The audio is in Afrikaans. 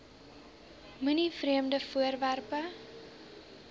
moenie vreemde voorwerpe